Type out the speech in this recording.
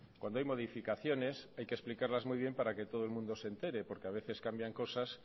cuando hay modificaciones hay que explicarlas muy bien para que todo el mundo se entere porque a veces cambian cosas